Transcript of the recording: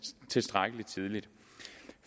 tilstrækkelig tidligt